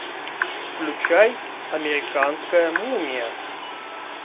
включай американская мумия